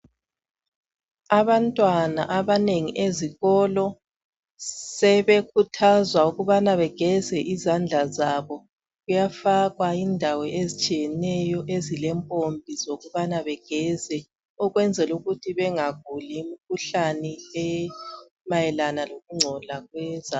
Abantwana abanengi ezikolo sebe kuthazwa ukubana begeza izandla zabo kuyafakwa indawo ezitshiyeneyo ezilempompi zokubana begeze ukwenzela ukuthi bengaguli imikhuhlane emayelana lokungcola kwezandla